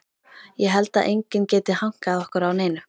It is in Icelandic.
Ég held að enginn geti hankað okkur á neinu.